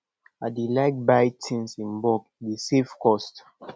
i dey like buy tins in bulk e dey save cost